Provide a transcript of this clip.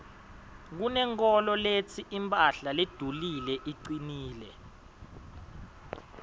kunenkholo letsi imphahla ledulile icinile